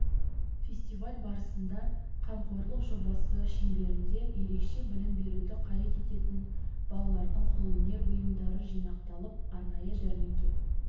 фестиваль барысында қамқорлық жобасы шеңберінде ерекше білім беруді қажет ететін балалардың қолөнер бұйымдары жинақталып арнайы жәрмеңке